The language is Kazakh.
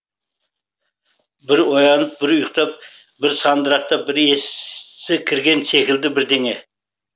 бір оянып бір ұйықтап бір сандырақтап бір есі кірген секілді бірдеңе